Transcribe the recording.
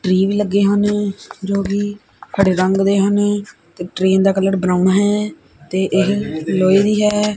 Tree ਵੀ ਲੱਗੇ ਹਨ ਜੋ ਕਿ ਹਰੇ ਰੰਗ ਦੇ ਹਨ ਤੇ ਟ੍ਰੇਨ ਦਾ ਕਲਰ ਬਰਾਊਨ ਹੈ ਤੇ ਇਹ ਲੋਏ ਦੀ ਹੈ।